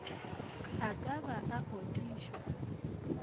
a ka ba a otišwa